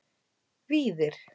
Víðir